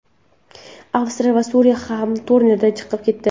Avstraliya va Suriya ham turnirdan chiqib ketdi.